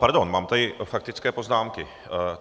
Pardon, mám tady faktické poznámky.